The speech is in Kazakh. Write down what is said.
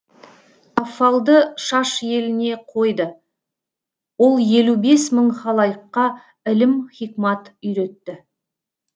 каффалды шаш еліне қойды ол елу бес мың халайыққа ілім хикмат үйретті